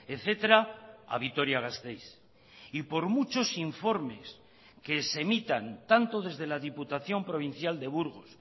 etcétera a vitoria gasteiz y por muchos informes que se emitan tanto desde la diputación provincial de burgos